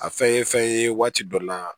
A fɛn ye fɛn ye waati dɔ la